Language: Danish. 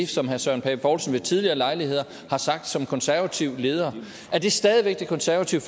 som herre søren pape poulsen ved tidligere lejligheder har sagt som konservativ leder er det stadig væk det konservative